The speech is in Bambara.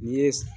N'i ye